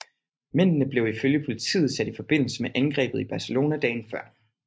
Mændene blev ifølge politiet sat i forbindelse med angrebet i Barcelona dagen før